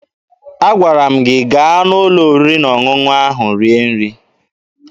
Agwara m gị gaa n'ụlọ oriri na ọṅụṅụ rie nri!